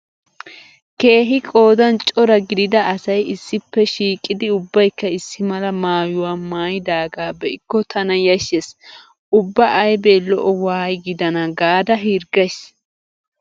Keehi qoodan cora gidida asay issippe shiiqidi ubbaykka issi mala maayuwa maayidaagaa be'ikko tana yashshees. Ubba aybe lo'o waayi gidana gaada hirggays.